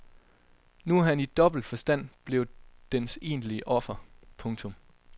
Nu er han i dobbelt forstand blevet dens egentlige offer. punktum